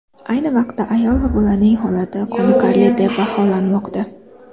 Ayni vaqtda ayol va bolaning holati qoniqarli deb baholanmoqda.